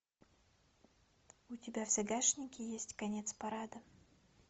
у тебя в загашнике есть конец парада